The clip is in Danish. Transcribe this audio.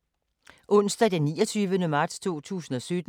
Onsdag d. 29. marts 2017